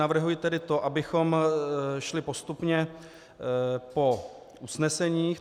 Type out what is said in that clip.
Navrhuji tedy to, abychom šli postupně po usneseních.